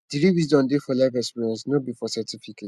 the real wisdom dey for life experience no be for certificates